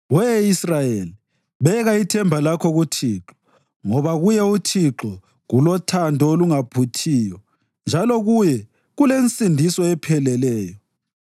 We Israyeli, beka ithemba lakho kuThixo, ngoba kuye uThixo kulothando olungaphuthiyo njalo kuye kulensindiso epheleleyo.